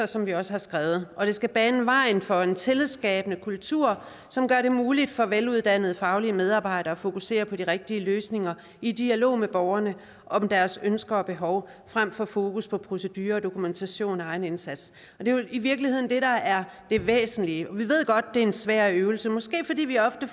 som vi også har skrevet og det skal bane vejen for en tillidsskabende kultur som gør det muligt for veluddannede faglige medarbejdere at fokusere på de rigtige løsninger i dialog med borgerne om deres ønsker og behov frem for at fokusere på procedurer og dokumentation af egen indsats og det er vel i virkeligheden det der er det væsentlige vi ved godt det er en svær øvelse måske fordi vi ofte